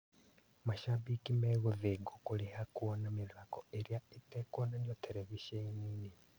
Macambĩki megũthĩngwo kũrĩha kuona mĩthako ĩrĩa ĩtekuonanio terebiceni-ĩnĩ.